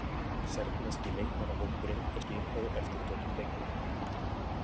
Serbneski leikmannahópurinn er skipaður eftirtöldum leikmönnum.